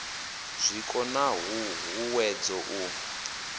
zwiko na hu huwedzo u